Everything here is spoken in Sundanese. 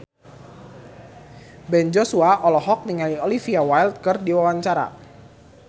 Ben Joshua olohok ningali Olivia Wilde keur diwawancara